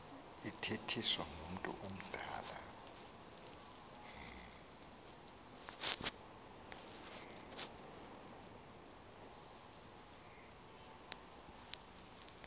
ithethiswa ngumntu omdala